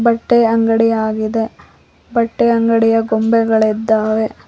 ಬಟ್ಟೆ ಅಂಗಡಿ ಯಾಗಿದೆ ಬಟ್ಟೆಯ ಅಂಗಡಿಯ ಗೊಂಬೆಗಳಿದ್ದಾವೆ.